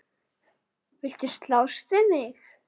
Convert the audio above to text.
Viltu slást við mig?